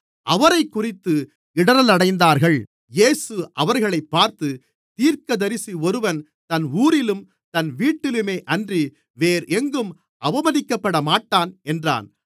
அவரைக்குறித்து இடறலடைந்தார்கள் இயேசு அவர்களைப் பார்த்து தீர்க்கதரிசி ஒருவன் தன் ஊரிலும் தன் வீட்டிலுமேயன்றி வேறெங்கும் அவமதிக்கப்படமாட்டான் என்றார்